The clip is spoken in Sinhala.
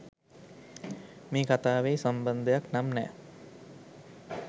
මේ කතාවෙයි සම්බන්ධයක් නම් නෑ.